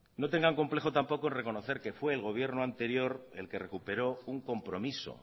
no tengan complejo tampoco en reconocer que fue el gobierno anterior el que recuperó un compromiso